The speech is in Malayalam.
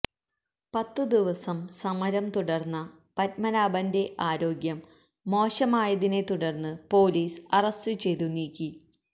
പത്ത് ദിവസം സമരം തുടര്ന്ന പത്മനാഭന്റെ ആരോഗ്യം മോശമായതിനെത്തുടര്ന്ന് പൊലീസ് അറസ്റ്റു ചെയ്ത് നീക്കി